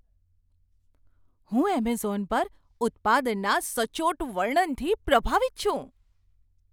હું એમેઝોન પર ઉત્પાદનના સચોટ વર્ણનથી પ્રભાવિત છું.